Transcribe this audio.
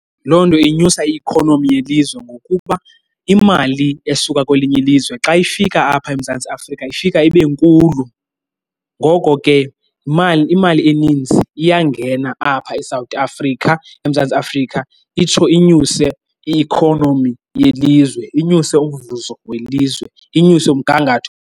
Loo nto inyusa i-ikhonomi yelizwe ngokuba imali esuka kwelinye ilizwe xa ifika apha eMzantsi Afrika ifika ibe nkulu. Ngoko ke imali eninzi iyangena apha eSouth Africa, eMzantsi Afrika, itsho inyuse i-ikhonomi yelizwe. Inyuse umvuzo welizwe, inyuse umgangatho.